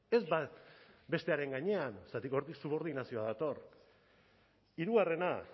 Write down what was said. ez bat bestearen gainean zergatik hortik subordinazioa dator hirugarrena